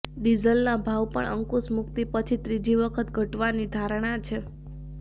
ડીઝલના ભાવ પણ અંકુશમુક્તિ પછી ત્રીજી વખત ઘટવાની ધારણા છે